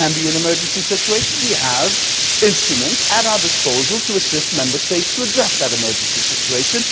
that can be an emergency situation we have instruments at our disposal to assist Member States to address that emergency situation.